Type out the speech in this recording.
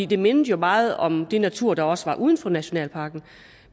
det mindede jo meget om den natur der også var uden for nationalparken